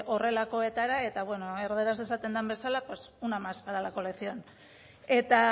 horrelakoetara eta erdaraz esaten den bezala pues una más para la colección eta